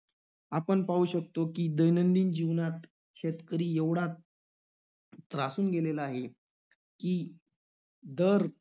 आपण पाहू शकतो की, दैनंदिन जीवनात शेतकरी एवढा त~ त्रासून गेलेला आहे की, दर